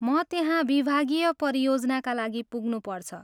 म त्यहाँ विभागीय परियोजनाका लागि पुग्नुपर्छ।